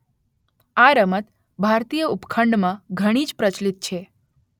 આ રમત ભારતીય ઉપખંડમાં ઘણી જ પ્રચલિત છે